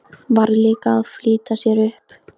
Varð líka að flýta sér upp.